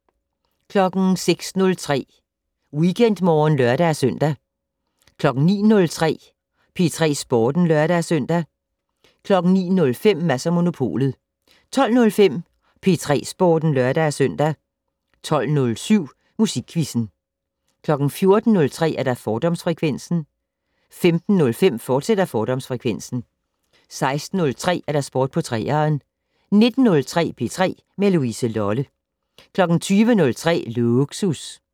06:03: WeekendMorgen (lør-søn) 09:03: P3 Sporten (lør-søn) 09:05: Mads & Monopolet 12:05: P3 Sporten (lør-søn) 12:07: Musikquizzen 14:03: Fordomsfrekvensen 15:05: Fordomsfrekvensen, fortsat 16:03: Sport på 3'eren 19:03: P3 med Louise Lolle 20:03: Lågsus